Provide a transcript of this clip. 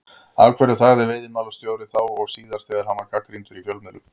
Af hverju þagði veiðimálastjóri, þá og síðar, þegar hann var gagnrýndur í fjölmiðlum?